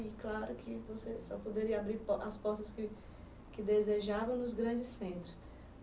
E claro que você só poderia abrir po as portas que que desejava nos grandes centros.